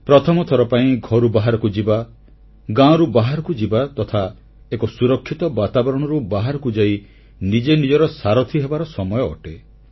ପ୍ରଥମଥର ପାଇଁ ଘରୁ ବାହାରକୁ ଯିବା ଗାଁରୁ ବାହାରକୁ ଯିବା ତଥା ଏକ ସୁରକ୍ଷିତ ବାତାବରଣରୁ ବାହାରକୁ ଯାଇ ନିଜେ ନିଜର ସାରଥି ହେବାର ସମୟ ଅଟେ